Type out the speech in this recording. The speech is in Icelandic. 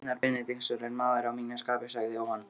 Einar Benediktsson er maður að mínu skapi, sagði Jóhann.